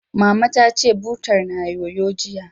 Mama ta ce, butar na yoyo, jiya